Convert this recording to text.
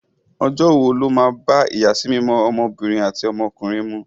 Ọjọ́ wo ló bá ìyàsímímọ́ ọmọbìnrin àti ọmọkùnrin mu?